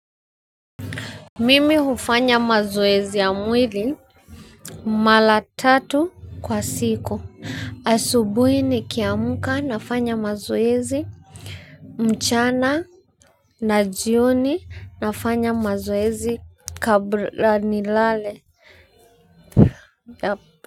Mimi hufanya mazoezi ya mwili mara tatu kwa siku. Asubuhi nikiamka nafanya mazoezi, mchana na jioni nafanya mazoezi kabla nilale.